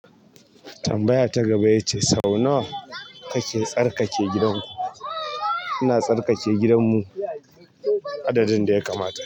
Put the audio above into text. Tambaya ta gaba ya ce sau nawa kake tsarkake gidanku? Ina tsarkake gidan mu adadin da ya kamata.